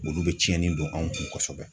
Olu be cɛni don an kun kosɛbɛ